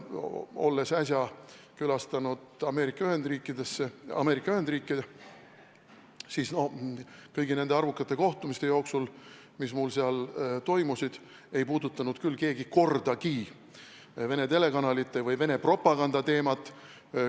Ma külastasin äsja Ameerika Ühendriike ja kõigi nende arvukate kohtumiste jooksul, mis mul seal toimusid, ei puudutanud keegi kordagi vene telekanalite või Venemaa propaganda teemat.